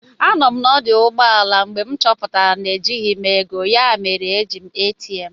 Anọ m na ọdụ ụgbọelụ mgbe m chọpụtara na ejighị m ego ya mere m ji jee ATM